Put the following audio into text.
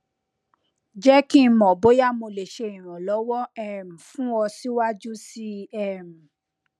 jẹ ki n mọ boya mo le ṣe iranlọwọ um fun ọ siwaju sii um